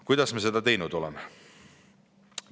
Kuidas me oleme seda teinud?